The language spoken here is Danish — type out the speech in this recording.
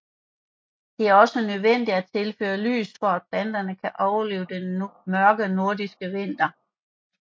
Det er også nødvendigt at tilføre lys for at planterne kan overleve den mørke nordiske vinter